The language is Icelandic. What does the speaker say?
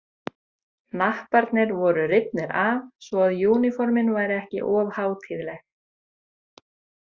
Hnapparnir voru rifnir af svo að úníformin væru ekki of hátíðleg.